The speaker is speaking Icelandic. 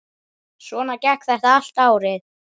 Svona gekk þetta allt árið.